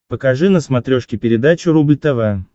покажи на смотрешке передачу рубль тв